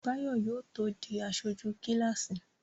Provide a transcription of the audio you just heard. Báyọ̀ yóò tó di aṣojú kíláàsì